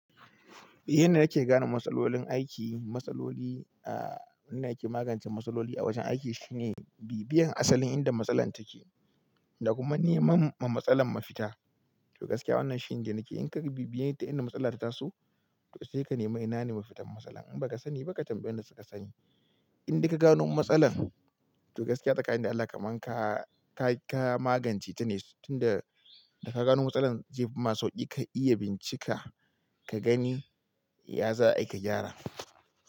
Eh, yana da yake gane matsalolin aiki, matsaloli, ah, wannan yake magance matsaloli a wajen aiki shine bibiyan asalin inda matsalar take da kuma neman ma matsalar mafita. To gaskiya wannan shine nake in ka bibiye ta inda matsalar ta taso, to sai ka nemi ina ne mafitar matsalar. In ba ka sani ba ka tambayi wadanda suka sani. In da ka gano matsalar, to gaskiya tsakanin da Allah kamar ka, ka, ka magance ita ne tunda da ka gano matsalar zefi ma sauƙi ka iya bincika ka gani ya za a yi ka gyara.